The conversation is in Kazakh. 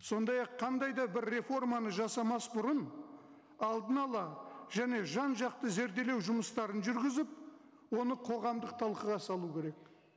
сондай ақ қандай да бір реформаны жасамас бұрын алдын ала және жан жақты зерделеу жұмыстарын жүргізіп оны қоғамдық талқыға салу керек